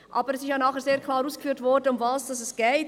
Aber es ist nachher sehr klar ausgeführt worden, worum es geht.